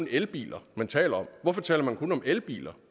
elbiler man taler om hvorfor taler man kun om elbiler